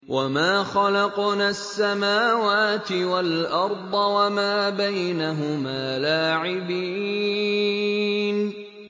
وَمَا خَلَقْنَا السَّمَاوَاتِ وَالْأَرْضَ وَمَا بَيْنَهُمَا لَاعِبِينَ